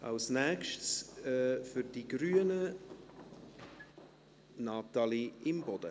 Als Nächste für die Grünen, Natalie Imboden.